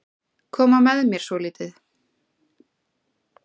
Koma með mér svolítið.